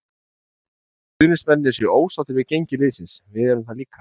Við skiljum vel að stuðningsmennirnir séu ósáttir við gengi liðsins, við eru það líka.